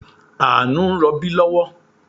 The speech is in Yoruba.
Àánú ń rọbí lọ́wọ́